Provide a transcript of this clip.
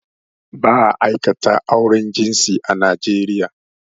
Ba a aikata auren jinsi a Naijeria